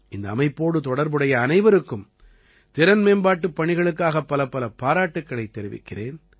இந்த அமைப்போடு தொடர்புடைய அனைவருக்கும் திறன் மேம்பாட்டுப் பணிகளுக்காக பலப்பல பாராட்டுக்களைத் தெரிவிக்கிறேன்